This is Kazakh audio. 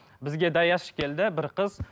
бізге даяшы келді бір қыз